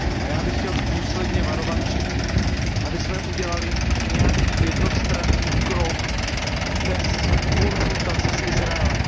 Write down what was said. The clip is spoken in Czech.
Já bych chtěl důsledně varovat před tím, abychom udělali nějaký jednostranný krok bez konzultace s Izraelem.